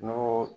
N'o